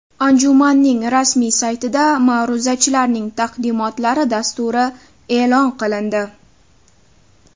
Anjumanning rasmiy saytida ma’ruzachilarning taqdimotlari dasturi e’lon qilindi.